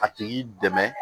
A tigi dɛmɛ